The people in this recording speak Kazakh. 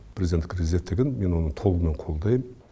президенттік резервтігін мен оның толығымен қолдайм